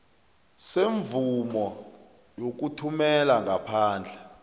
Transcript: semvumo yokuthumela ngaphandle